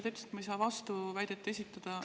Te ütlesite, et ma ei saa vastuväidet esitada.